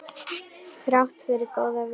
Þrátt fyrir góðan vilja.